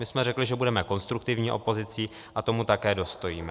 My jsme řekli, že budeme konstruktivní opozicí, a tomu také dostojíme.